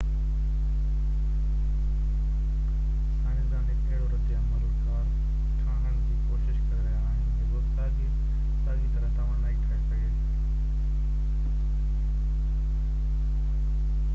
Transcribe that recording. سائنسدان هڪ اهڙو رد عمل ڪار ٺاهڻ جي ڪوشش ڪري رهيا آهن جيڪو ساڳئي طرح توانائي ٺاهي سگهي